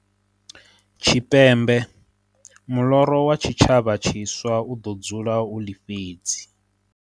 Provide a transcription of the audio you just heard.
Tshipembe, muḽoro wa tshitshavha tshiswa u ḓo dzula u ḽifhedzi.